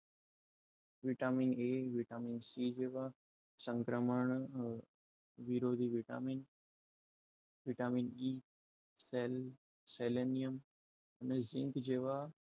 vitamin a vitamin c જેવા સંક્રમણ વિરોધી વિટામીન વિટામીન એ સેલ સેલેનીયમ અને ઝીંક જેવા